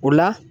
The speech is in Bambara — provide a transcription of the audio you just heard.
O la